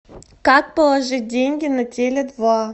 как положить деньги на теле два